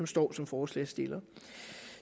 står som forslagsstiller